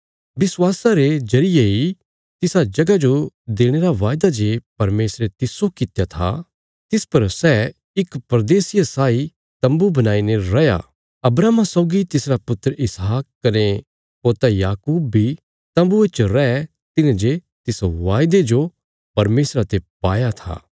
विश्वासा रे जरिये इ तिसा जगह जो देणे रा वायदा जे परमेशरे तिस्सो कित्या था तिस पर सै इक परदेसिये साई तम्बू बणाईने रैया अब्राहमा सौगी तिसरा पुत्र इसहाक कने पोता याकूब बी तम्बुये च रै तिन्हे जे तिस वायदे जो परमेशरा ते पाया था